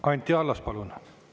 Anti Allas, palun!